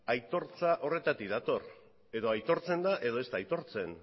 aitortza horretatik dator edo aitortzen da edo ez da aitortzen